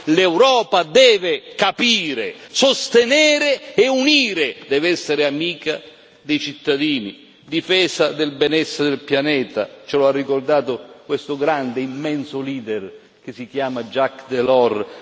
L'Europa deve capire, sostenere e unire, deve essere amica dei cittadini, difesa del benessere del pianeta ce lo ha ricordato questo grande, immenso leader che si chiama Jacques Delors.